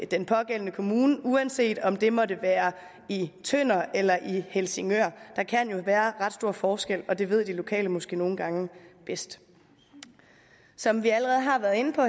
den pågældende kommune uanset om det måtte være i tønder eller i helsingør der kan jo være ret stor forskel og det ved de lokale måske nogle gange bedst som vi allerede har været inde på